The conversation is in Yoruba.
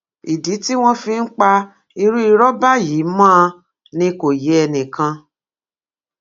ìdí tí wọn fi ń pa irú irọ báyìí mọ ọn ni kò yé ẹnikẹni